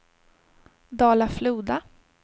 Dala-Floda